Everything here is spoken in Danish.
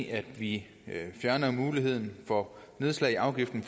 at vi fjerner muligheden for nedslag i afgiften